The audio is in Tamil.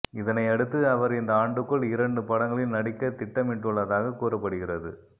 இதனை அடுத்து அவர் இந்த ஆண்டுக்குள் இரண்டு படங்களில் நடிக்க திட்டமிட்டுள்ளதாக கூறப்படுகிறது